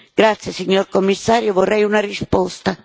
Grazie, signor Commissario, vorrei una risposta.